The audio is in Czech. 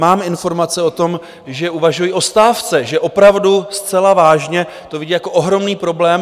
Mám informace o tom, že uvažují o stávce, že opravdu zcela vážně to vidí jako ohromný problém.